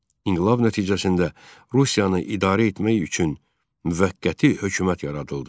İnqilab nəticəsində Rusiyanı idarə etmək üçün müvəqqəti hökumət yaradıldı.